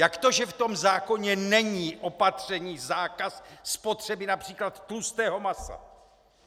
Jak to, že v tom zákoně není opatření, zákaz spotřeby například tlustého masa?